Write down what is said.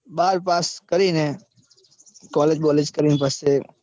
બાર pass કરીને college બોલેજ કરવી પડશે.